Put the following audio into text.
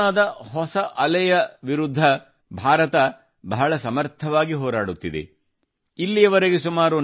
ಕೊರೊನಾದ ರೂಪಾಂತರಿಯ ವಿರುದ್ಧದ ಹೋರಾಟದ ಸಫಲತೆಗಾಗಿ ಭಾರತ ಬಹಳ ಶ್ರಮಿಸುತ್ತಿದೆ